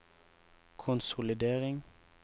konsolidering